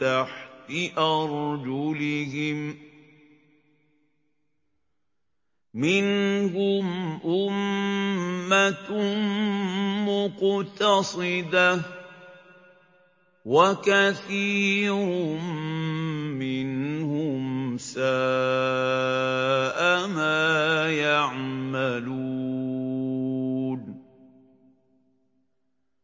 تَحْتِ أَرْجُلِهِم ۚ مِّنْهُمْ أُمَّةٌ مُّقْتَصِدَةٌ ۖ وَكَثِيرٌ مِّنْهُمْ سَاءَ مَا يَعْمَلُونَ